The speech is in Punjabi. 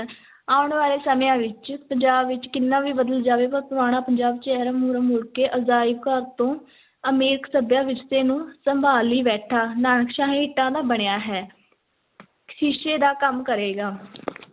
ਆਉਣ ਵਾਲੇ ਸਮਿਆਂ ਵਿੱਚ ਪੰਜਾਬ ਵਿੱਚ ਕਿੰਨਾ ਵੀ ਬਦਲ ਜਾਵੇ ਪਰ ਪੁਰਾਣਾ ਪੰਜਾਬ ਚਿਹਰਾ ਮੁਹਰਾ ਮੁੜ ਕੇ ਅਜਾਇਬ ਘਰ ਤੋਂ ਅਮੀਰ ਸੱਭਿਆ ਵਿਰਸੇ ਨੂੰ ਸੰਭਾਲੀ ਬੈਠਾ ਨਾਨਕਸ਼ਾਹੀ ਇੱਟਾਂ ਦਾ ਬਣਿਆ ਹੈ ਸ਼ੀਸ਼ੇ ਦਾ ਕੰਮ ਕਰੇਗਾ